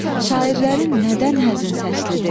Şairlərin nədən həzin səsliidir?